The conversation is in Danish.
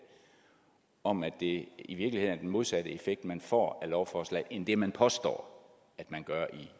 om at det i virkeligheden er den modsatte effekt man får af lovforslaget end det man påstår